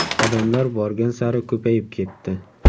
Odamlar borgan sari ko‘payib ketdi.